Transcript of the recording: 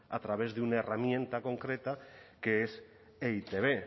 a través de una herramienta concreta que es e i te be